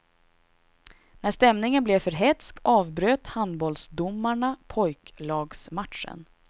När stämningen blev för hätsk avbröt handbollsdomarna pojklagsmatchen.